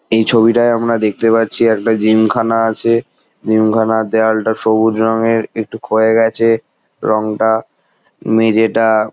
এই ছবিটায় আমরা দেখতে পাচ্ছি একটা জিম খানা আছে। জিম খানার দেওয়ালটা সবুজ রঙের একটু ক্ষয়ে গেছে রংটা মেঝেটা ।